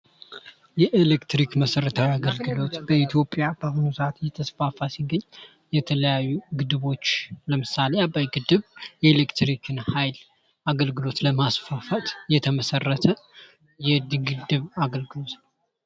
የኤሌክትሪክ መሰረታዊ የአገልግሎት በኢትዮጵያ እየተስፋፋ የተለያዩ ግድቦች ለምሳሌ አባይ ግድብ የኤሌክትር አገልግሎት ለማስፋፋት የግድብ አገልግሎት ነው።